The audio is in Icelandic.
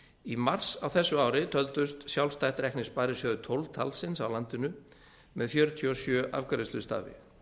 í mars á þessu ári töldust sjálfstætt reknir sparisjóðir tólf talsins á landinu með fjörutíu og sjö afgreiðslustaði